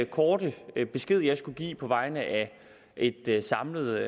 korte besked jeg skulle give på vegne af et et samlet